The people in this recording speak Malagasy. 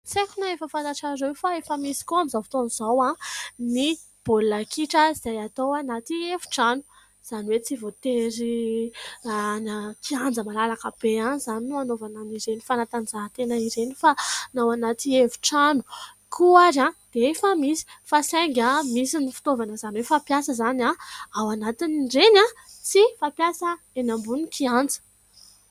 Tsy aiko raha efa fantatrareo fa efa misy koa amin'izao fotoana izao ny baolina kitra, izay atao anaty efitrano. Izany hoe tsy voatery any an-kianja malalaka be any izany no anaovana an'ireny fanatanjahantena ireny, fa na ao anaty efitrano koa ary dia efa misy. Fa saingy misy ny fitaovana izany hoe fampiasa izany ao anatin'ireny sy fampiasa eny ambony kianja.